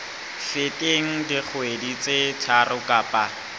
feteng dikgwedi tse tharo kapa